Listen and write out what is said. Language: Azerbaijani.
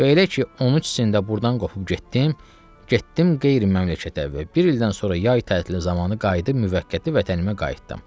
Və elə ki 13-ümdə burdan qopub getdim, getdim qeyri-məmləkətə və bir ildən sonra yay tətili zamanı qayıdıb müvəqqəti vətənimə qayıtdım.